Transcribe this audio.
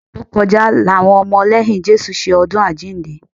Oṣù tó kọjá làwọn ọmọ lẹ́yìn Jésù ṣe ọdún àjíǹde